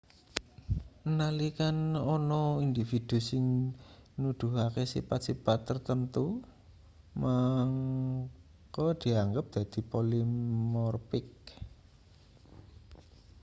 nalika ana individu sing nuduhake sipat-sipat tartamtu mangka dianggep dadi polimorpik